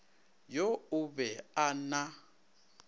yo o be a na